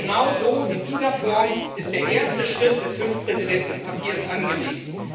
Genauso, in dieser Form, ist der erste Schritt des Fünf Präsidenten Papiers angelegt.